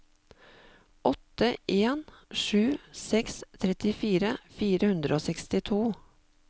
åtte en sju seks trettifire fire hundre og sekstito